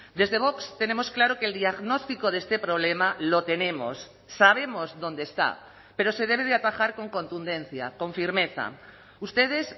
desde vox tenemos claro que el diagnóstico de este problema lo tenemos sabemos dónde está pero se debe de atajar con contundencia con firmeza ustedes